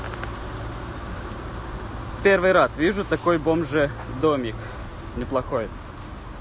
первый раз вижу такой бомже домик неплохой